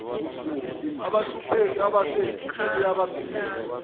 abahluphekile abese uyabasiza